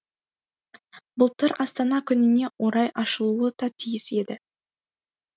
былтыр астана күніне орай ашылуы да тиіс еді